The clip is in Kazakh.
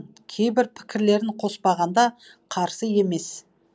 кейбір пікірлерін қоспағанда қарсы емес